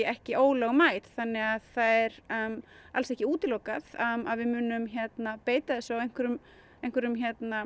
ekki ólögmæt þannig það er alls ekki útilokað að við munum beita þessu á einhverjum einhverjum